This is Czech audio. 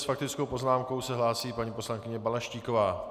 S faktickou poznámkou se hlásí paní poslankyně Balaštíková.